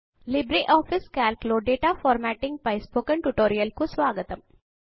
LibreOffice Calc లో data formatting పై spoken tutorial కు స్వాగతము